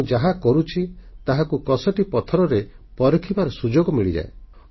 ମୁଁ ଯାହା କରୁଛି ତାହାକୁ କଷଟି ପଥରରେ ପରଖିବାର ସୁଯୋଗ ମିଳିଯାଏ